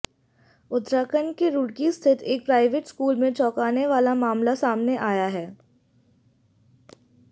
उत्तराखंड के रुड़की स्थित एक प्राइवेट स्कूल में चौंकाने वाला मामला सामने आया है